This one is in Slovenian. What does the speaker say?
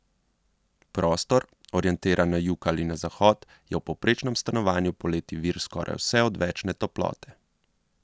Prostor, orientiran na jug ali na zahod, je v povprečnem stanovanju poleti vir skoraj vse odvečne toplote.